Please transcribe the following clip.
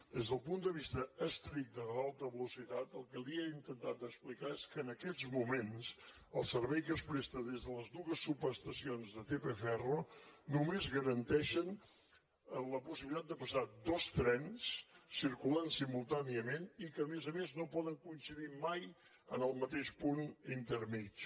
des del punt de vista estricte de l’alta velocitat el que li he intentat explicar és que en aquests moments el servei que es presta des de les dues subestacions de tp ferro només garanteix la possibilitat de passar dos trens circulant simultàniament i que a més a més no poden coincidir mai en el mateix punt intermedi